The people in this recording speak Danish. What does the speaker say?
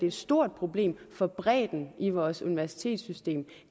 et stort problem for bredden i vores universitetssystem